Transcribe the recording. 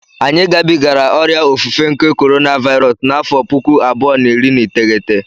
Anyị gabigara ọrịa ofufe nke korona Vairọs n'afọ pụkụ abụọ na iri na iteghete